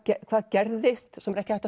hvað gerðist sem er ekki hægt að